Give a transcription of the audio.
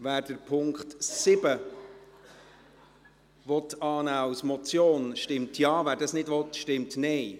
Wer den Punkt 7 als Motion annehmen will, stimmt Ja, wer dies nicht will, stimmt Nein.